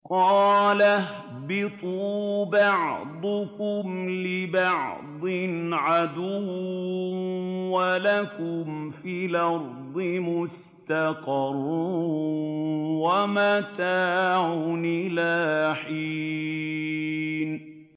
قَالَ اهْبِطُوا بَعْضُكُمْ لِبَعْضٍ عَدُوٌّ ۖ وَلَكُمْ فِي الْأَرْضِ مُسْتَقَرٌّ وَمَتَاعٌ إِلَىٰ حِينٍ